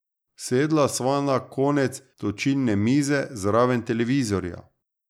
Sedla sva na konec točilne mize zraven televizorja.